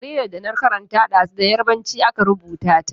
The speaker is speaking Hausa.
Jaridar da na karanta ɗazu da Yarbanci aka rubuta ta.